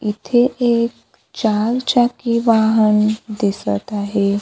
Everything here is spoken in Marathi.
इथे एक चार चाकी वाहन दिसत आहे.